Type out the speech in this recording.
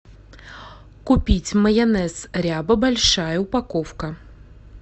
купить майонез ряба большая упаковка